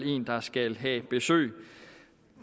en der skal have besøg